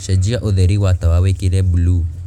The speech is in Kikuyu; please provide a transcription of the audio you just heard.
cenjia ūtheri wa tawa wīkire buluu